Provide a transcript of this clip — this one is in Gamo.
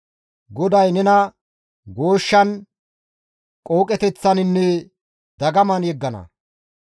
GODAY nena gooshshan, qooqeteththaninne dagaman yeggana.